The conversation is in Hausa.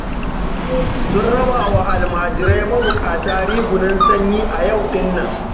Sun raba wa almajirai mabuƙata rigunan sanyi a yau ɗin nan